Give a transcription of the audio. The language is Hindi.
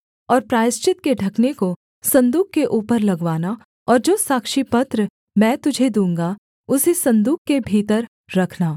और प्रायश्चित के ढकने को सन्दूक के ऊपर लगवाना और जो साक्षीपत्र मैं तुझे दूँगा उसे सन्दूक के भीतर रखना